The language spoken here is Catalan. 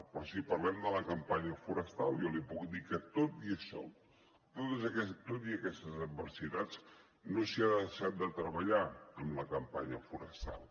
però si parlem de la campanya forestal jo li puc dir que tot i això tot i aquestes adversitats no s’hi ha deixat de treballar en la campanya forestal